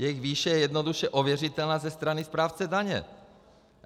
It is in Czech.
Jejich výše je jednoduše ověřitelná ze strany správce daně.